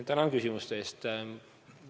Tänan küsimuste eest!